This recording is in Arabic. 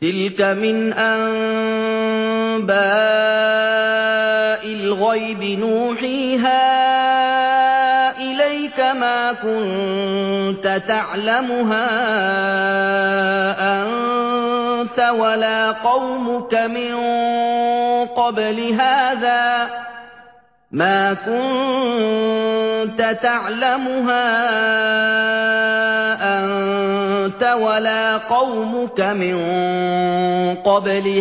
تِلْكَ مِنْ أَنبَاءِ الْغَيْبِ نُوحِيهَا إِلَيْكَ ۖ مَا كُنتَ تَعْلَمُهَا أَنتَ وَلَا قَوْمُكَ مِن قَبْلِ